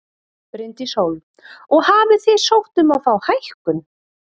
Bryndís Hólm: Og hafið þið sótt um að fá hækkun?